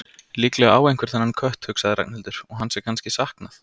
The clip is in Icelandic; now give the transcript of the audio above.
Líklega á einhver þennan kött, hugsaði Ragnhildur, og hans er kannski saknað.